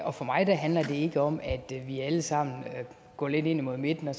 og for mig handler det ikke om at vi alle sammen går lidt ind imod midten og